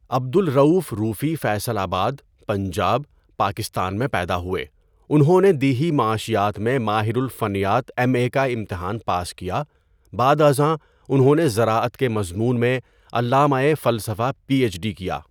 عبد Rauf Raufi Faisalabad, Punjab, Pakistan میں پیدا ہوئے انہوں نے دیہی معاشیات میں ماہر الفنیات ایم اے کا امتحان پاس کیا بعد ازاں انہوں نے زراعت کے مضمون میں علامۂِ فلسفہ پی ایچ ڈی کیا.